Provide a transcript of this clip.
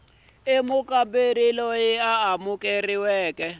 hi mukamberi loyi a amukeriweke